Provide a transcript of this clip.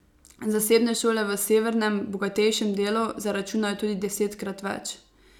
Zasebne šole v severnem, bogatejšem delu zaračunajo tudi desetkrat več.